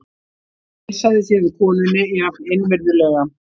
Heilsaði síðan konunni jafn innvirðulega.